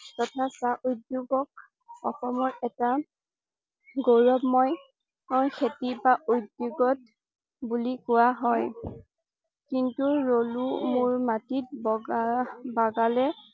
তথা চাহ উদ্যোগক অসমৰ এটা গৌৰৱময় খেতি বা উদ্যোগত বুলি কোৱা হয়। কিন্তু ৰলুমুৰ মাটিত বগা বাগালে